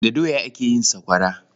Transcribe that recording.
Da doya ake yin sakwawara.